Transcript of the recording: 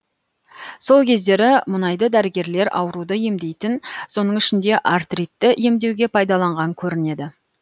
сол кездері мұнайды дәрігерлер ауруды емдейтін соның ішінде артритті емдеуге пайдаланған көрінеді